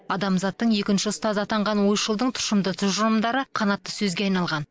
адамзаттың екінші ұстазы атанған ойшылдың тұшымды тұжырымдары қанатты сөзге айналған